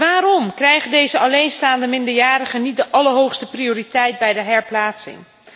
Waarom krijgen deze alleenstaande minderjarigen niet de allerhoogste prioriteit bij de herplaatsing?